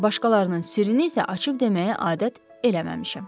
Başqalarının sirrini isə açıb deməyi adət eləməmişəm.